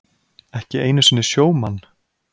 Ekki einu sinni sjómann?